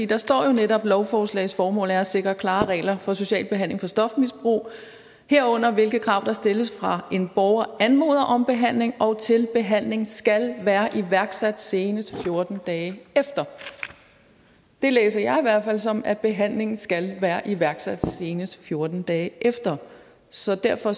der står jo netop lovforslagets formål er at sikre klarere regler for social behandling af stofmisbrug herunder hvilke krav der stilles fra en borger anmoder om behandling og til behandlingen skal være iværksat senest fjorten dage efter det læser jeg i hvert fald som at behandlingen skal være iværksat senest fjorten dage efter så derfor